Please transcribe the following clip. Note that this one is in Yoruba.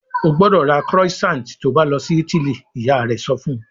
"Ó gbọ́dọ̀ ra croissant to bá lọ sí Italy!" Ìyá rẹ sọ fun